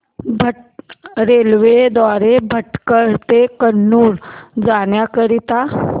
railway द्वारे भटकळ ते कन्नूर जाण्या करीता